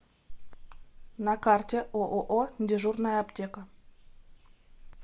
на карте ооо дежурная аптека